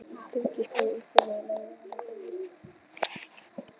Birkir fór úr úlpunni og lagði hana á borðið.